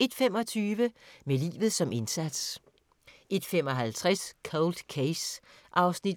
01:25: Med livet som indsats 01:55: Cold Case (48:156) 02:45: